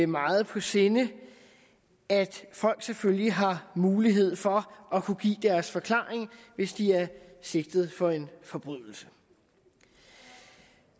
meget på sinde at folk selvfølgelig har mulighed for at kunne give deres forklaring hvis de er sigtet for forbrydelser